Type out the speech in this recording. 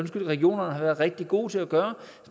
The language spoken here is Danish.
regionerne har været rigtig gode til at gøre